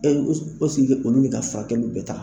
E ɛseke olu bɛ ka furakɛli bɛɛ ta.